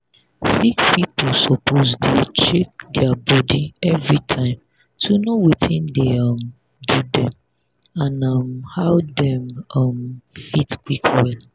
sick people suppose dey check their body everytime to know watin dey um do dem and um how dem um fit quick well.